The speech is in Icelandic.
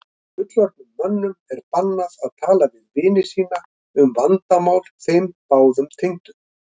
Fullorðnum mönnum er bannað að tala við vini sína um vandamál þeim báðum tengdum?